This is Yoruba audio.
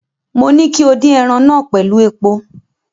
Mo ní kí o dín ẹran náà pẹ̀lú epo.